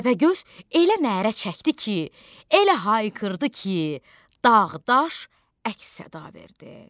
Təpəgöz elə nərə çəkdi ki, elə hayqırdı ki, dağ-daş əks-səda verdi.